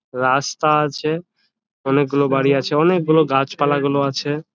রাস্তা আছে অনেক গুলো বাড়ি আছে |অনেক গুলো গাছপালা গুলো আছে ।